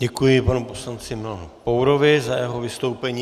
Děkuji panu poslanci Milanu Pourovi za jeho vystoupení.